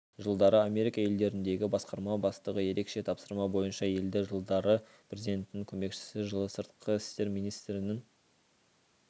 жылдары америка елдеріндегі басқарма бастығы ерекше тапсырма бойынша елші жылдары президентінің көмекшісі жылы сыртқы істер министрінің